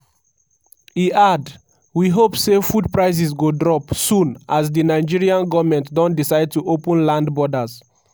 e add "we hope say food prices go drop soon as di nigerian goment don decide to open land borders."